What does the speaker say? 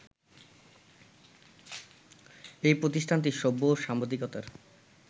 এই প্রতিষ্ঠানটি সভ্য-সাংবাদিকতার